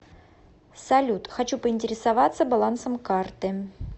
салют хочу поинтересоваться балансом карты